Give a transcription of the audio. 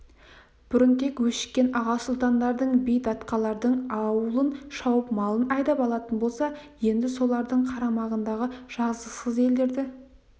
бұрын тек өшіккен аға сұлтандардың би датқалардың аулын шауып малын айдап алатын болса енді солардың қарамағындағы жазықсыз елдерді